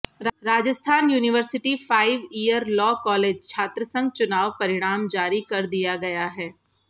Rajasthan university five year law college छात्रसंघ चुनाव परिणाम जारी कर दिया गया है